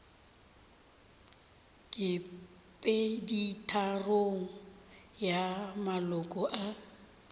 ke peditharong ya maloko a